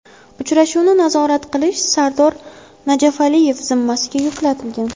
Uchrashuvni nazorat qilish Sardor Najafaliyev zimmasiga yuklatilgan.